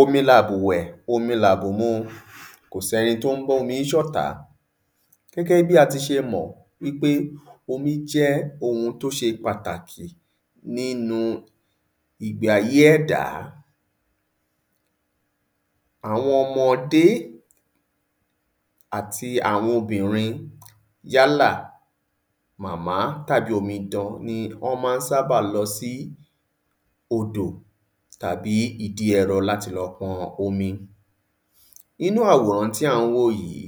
Omi labùwẹ̀ omi labùmu kò sẹ́ni tó n bómi ṣọ̀tá, gẹ́gẹ bi a tí mọ̀ wí pẹ́ omi jẹ ǹkan tí o ṣé pàtàkì nínu ìgbé ayé ẹ̀dá awọn ọmọdé áti awọn obìnrin yálà màmá tàbi omidan wọn má n sába lọ sí odò tàbi ìdí ẹ̀rọ láti lọ pọn omi inú àwòrán tí a n wo yìí,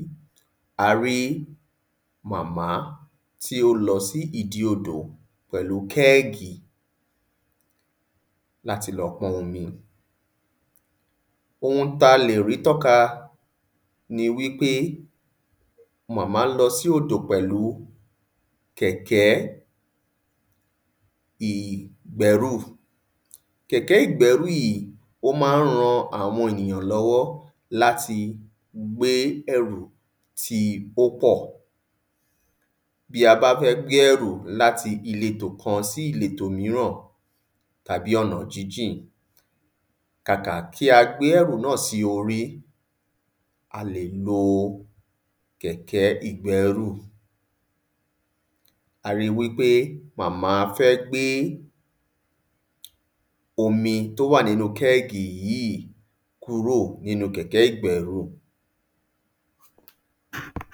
a rí màmá tí o lọ sí ìdí odò pẹ́lu kẹ́gì lá ti lọ pọn omi. Oun tá lè rí tọ́ka ni wí pé màmá n lọ́ si odò pẹ́lù kẹ̀kẹ́ ìgbẹ́rù. kẹ̀kẹ́ ìgbẹ́ru yìí o má n ran awọn enìyàn lọ́wọ́ áti gbẹ́rù tí o pọ Bí a bá fẹ́ gbe ẹrù láti ilé to kan sí ilé to míràn tàbí ọ̀nà jínjìn, kàkà kí a gbẹ́rù nàa sí orí a lè lóò kẹ̀kẹ́ ìgbẹ́rù A ri wí pé màmá fẹ́ gbé omi tó wà nínú kẹ́gì yìí kúrò nínu kẹ̀kẹ́ ìgbẹ́ru